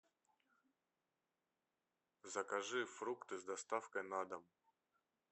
закажи фрукты с доставкой на дом